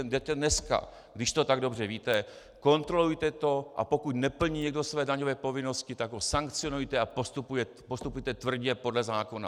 Jděte dneska, když to tak dobře víte, kontrolujte to, a pokud neplní někdo své daňové povinnosti, tak ho sankcionujte a postupujte tvrdě podle zákona."